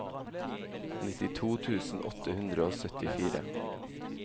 nittito tusen åtte hundre og syttifire